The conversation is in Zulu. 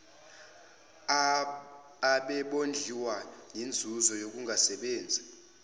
abebondliwa yinzuzo yokungasebenzi